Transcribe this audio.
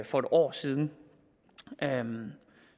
for et år siden